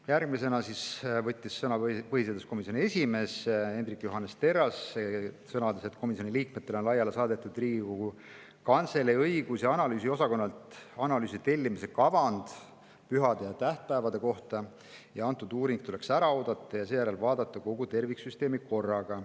Järgmisena võttis sõna põhiseaduskomisjoni esimees Hendrik Johannes Terras, kes sõnas, et komisjoni liikmetele on laiali saadetud Riigikogu Kantselei õigus- ja analüüsiosakonnalt pühade ja tähtpäevade kohta analüüsi tellimise kavand ja et antud uuring tuleks ära oodata ning seejärel vaadata kogu terviksüsteemi korraga.